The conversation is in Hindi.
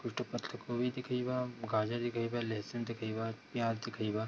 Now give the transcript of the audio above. टुटो पतलो कोबी दिखईबा गाजर दिखईबा लहसुन दिखईबा प्याज दिखईबा।